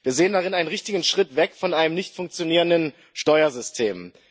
Wir sehen darin einen richtigen Schritt weg von einem nicht funktionierenden Steuersystem.